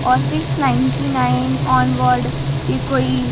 और six ninety nine onward ई कोई